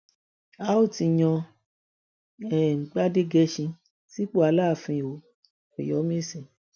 a ò tí ì yan um gbadẹgẹsín sípò aláàfin o ọyọmẹsì